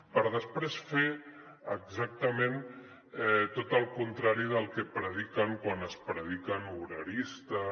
per després fer exactament tot el contrari del que prediquen quan es prediquen obreristes